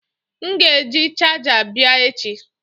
M ga-eji chaja abia echi.